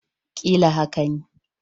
Ƙila haka ne